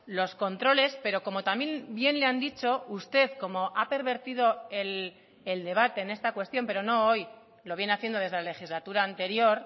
los controles pero como también bien le han dicho usted como ha pervertido el debate en esta cuestión pero no hoy lo viene haciendo desde la legislatura anterior